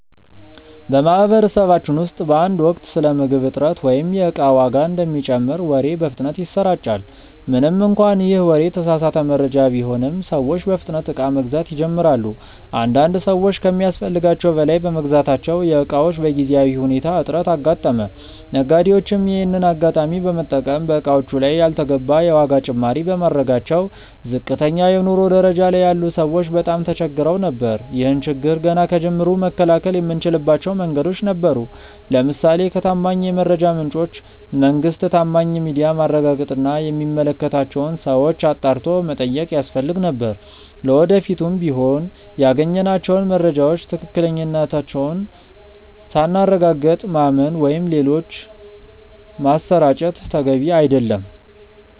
በማህበረሰባችን ውስጥ በአንድ ወቅት ስለ ምግብ እጥረት ወይም የእቃ ዋጋ እንደሚጨምር ወሬ በፍጥነት ይሰራጫል። ምንም እንኳን ይህ ወሬ የተሳሳተ መረጃ ቢሆንም፤ ሰዎች በፍጥነት እቃ መግዛት ይጀምራሉ። አንዳንድ ሰዎች ከሚያስፈልጋቸው በላይ በመግዛታቸው የእቃዎች በጊዜያዊ ሁኔታ እጥረት አጋጠመ። ነጋዴዎችም ይሄንን አጋጣሚ በመጠቀም በእቃዎቹ ላይ ያልተገባ የዋጋ ጭማሪ በማድረጋቸው ዝቅተኛ የኑሮ ደረጃ ላይ ያሉ ሰዎች በጣም ተቸግረው ነበር። ይህን ችግር ገና ከጅምሩ መከላከል የምንችልባቸው መንገዶች ነበሩ። ለምሳሌ ከታማኝ የመረጃ ምንጮች (መንግስት፣ ታማኝ ሚዲያ)ማረጋገጥ እና የሚመለከታቸውን ሰዎች አጣርቶ መጠየቅ ያስፈልግ ነበር። ለወደፊቱም ቢሆን ያገኘናቸውን መረጃዎች ትክክለኛነታቸውን ሳናረጋግጥ ማመን ወይም ሌሎች ማሰራጨት ተገቢ አይደለም።